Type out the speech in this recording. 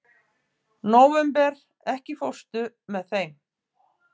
Nóvember, ekki fórstu með þeim?